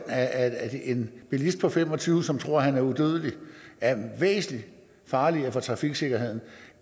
at en bilist på fem og tyve år som tror at han er udødelig er væsentlig farligere for trafiksikkerheden